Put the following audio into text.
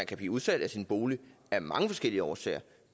kan blive udsat af sin bolig af mange forskellige årsager